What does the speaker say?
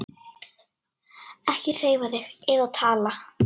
Ekki hreyfa þig eða tala.